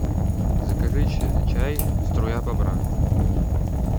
закажи чай струя бобра